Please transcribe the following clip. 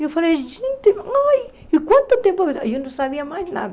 E eu falei, gente, ai, e quanto tempo, e eu não sabia mais nada.